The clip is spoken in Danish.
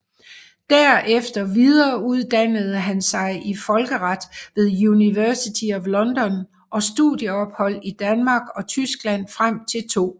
Derefter videreduddannede han sig i folkeret ved University of London og studieophold i Danmark og Tyskland frem til 2